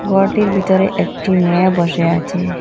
ঘরটির ভিতরে একটি মেয়ে বসে আছে।